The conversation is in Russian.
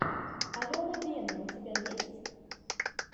алена венум у тебя есть